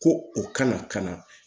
Ko u kana